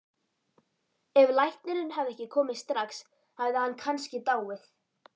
Ef læknirinn hefði ekki komið strax hefði hann kannski dáið